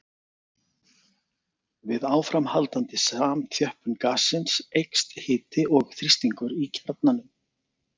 Við áframhaldandi samþjöppun gassins eykst hiti og þrýstingur í kjarnanum.